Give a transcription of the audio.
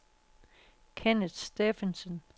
Kenneth Steffensen